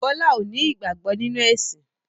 Bọlá ó ní ìgbàgbọ́ nínú ẹ̀sìn